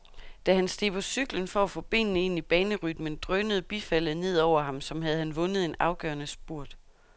Da han steg på cyklen for at få benene ind i banerytmen, drønede bifaldet ned over ham, som havde han vundet en afgørende spurt.